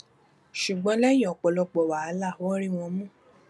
ṣùgbọn lẹyìn ọpọlọpọ wàhálà wọn rí wọn mú